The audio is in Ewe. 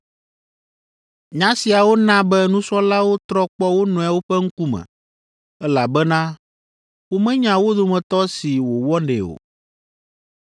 Nya siawo na be nusrɔ̃lawo trɔ kpɔ wo nɔewo ƒe ŋkume, elabena womenya wo dometɔ si wòwɔnɛ o.